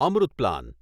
Amrit plan